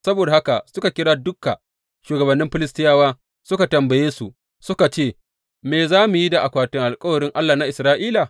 Saboda haka suka kira duka shugabannin Filistiyawa suka tambaye su, suka ce, Me za mu da akwatin alkawarin Allahn Isra’ila?